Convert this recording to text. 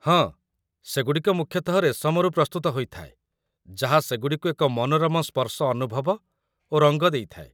ହଁ, ସେଗୁଡ଼ିକ ମୁଖ୍ୟତଃ ରେଶମରୁ ପ୍ରସ୍ତୁତ ହୋଇଥାଏ ଯାହା ସେଗୁଡ଼ିକୁ ଏକ ମନୋରମ ସ୍ପର୍ଶଅନୁଭବ ଓ ରଙ୍ଗ ଦେଇଥାଏ